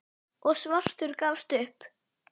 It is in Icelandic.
og svartur gafst upp.